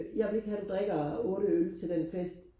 jeg vil ikke have du drikker otte øl til den fest